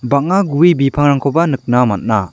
bang·a gue bipangrangkoba nikna man·a.